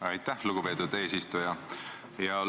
Aitäh, lugupeetud eesistuja!